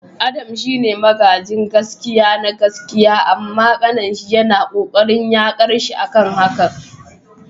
Adams shine magajin gaskia na gaskiya amma kaninsa yana kokarin yakarshi akan hakan.